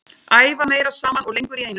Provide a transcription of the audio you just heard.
Æfa meira saman og lengur í einu.